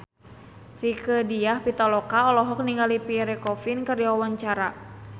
Rieke Diah Pitaloka olohok ningali Pierre Coffin keur diwawancara